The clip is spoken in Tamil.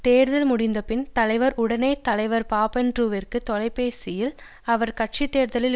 தேர்தல் முடிந்த பின் தலைவர் உடனே தலைவர் பாபண்ட்ரூவிற்கு தொலைபேசியில் அவர் கட்சி தேர்தலில்